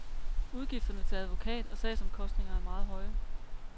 Udgifterne til advokat og sagsomkostninger er meget høje.